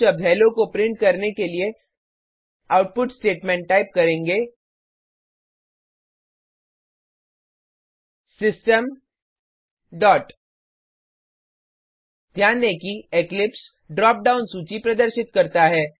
हम शब्द हेलो को प्रिंट करने के लिए आउटपुट स्टेटमेंट टाइप करेंगे सिस्टम डॉट ध्यान दें कि इक्लिप्स ड्रॉप डाउन सूची प्रदर्शित करता है